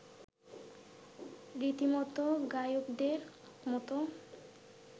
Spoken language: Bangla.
রীতিমতো গায়কদের মতো